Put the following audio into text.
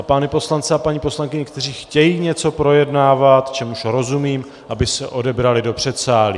A pány poslance a paní poslankyně, kteří chtějí něco projednávat, čemuž rozumím, aby se odebrali do předsálí.